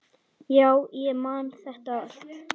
Já, ég man þetta allt.